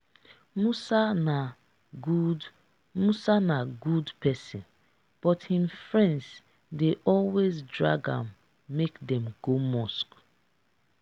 musa na good musa na good person but him friends dey always drag am make dem go mosque